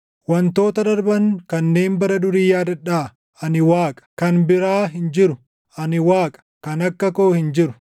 Wantoota darban kanneen bara durii yaadadhaa; ani Waaqa; kan biraa hin jiru; ani Waaqa; kan akka koo hin jiru.